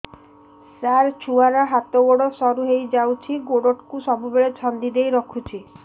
ସାର ଛୁଆର ହାତ ଗୋଡ ସରୁ ହେଇ ଯାଉଛି ଗୋଡ କୁ ସବୁବେଳେ ଛନ୍ଦିଦେଇ ରଖୁଛି